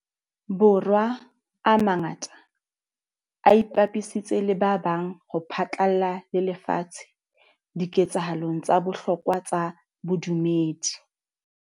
Bo rwa a mangata a ipapisitse le ba bang ho phatlalla le lefatshe dike tsahalong tsa bohlokwa tsa bodumedi.